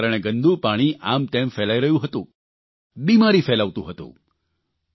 તેણે કારણે ગંદુ પાણી આમતેમ ફેલાઇ રહ્યું હતું બિમારી ફેલાવતું હતું